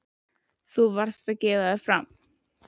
Þú varðst að gefa þig fram.